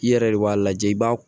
I yɛrɛ de b'a lajɛ i b'a